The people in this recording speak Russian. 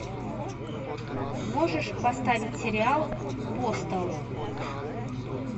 можешь поставить сериал апостол